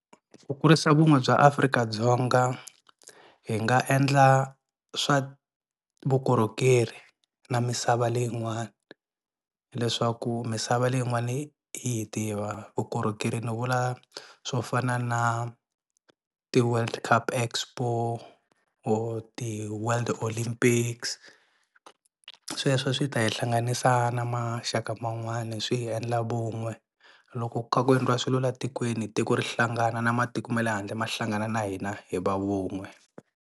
Ku kurisa vun'we bya Afrika-Dzonga hi nga endla swa vukorhokeri na misava leyin'wani leswaku misava leyin'wani yi hi tiva. Vukorhokeri nivula swo fana na ti-world cup expo or ti world olympics, sweswo swi ta hi hlanganisa na maxaka man'wani swi hi endla vun'we. Loko ku kha ku endliwa swilo la tikweni tiko ri hlangana na matiko ma le handle ma hlangana na hina hi va vun'we.